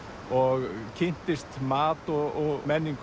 og kynntist mat og menningu